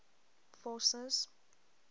forces